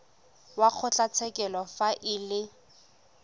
wa kgotlatshekelo fa e le